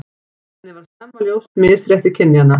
Henni varð snemma ljóst misrétti kynjanna.